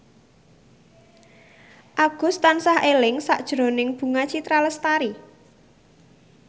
Agus tansah eling sakjroning Bunga Citra Lestari